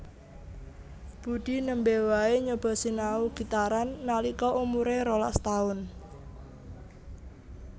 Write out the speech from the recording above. Budi nembe wae nyoba sinau gitaran nalika umuré rolas taun